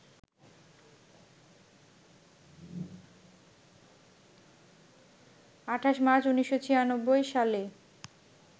২৮ March, ১৯৯৬ সালে